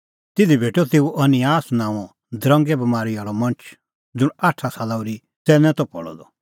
तिधी भेटअ तेऊ अनिआस नांओं दरंगे बमारी आल़अ मणछ ज़ुंण आठा साला ओर्ही च़ैन्नै त पल़अ द